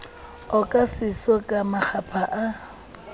oka seso ka makgapha ha